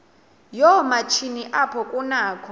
yoomatshini apho kunakho